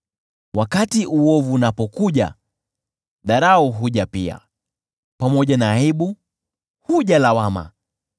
Wakati uovu unapokuja, dharau huja pia, pamoja na aibu huja lawama.